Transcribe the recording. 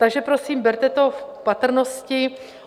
Takže prosím, berte to v patrnosti.